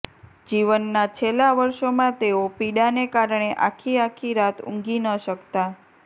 જીવનના છેલ્લા વર્ષોમાં તેઓ પીડાને કારણે આખી આખી રાત ઊંઘી ન શકતા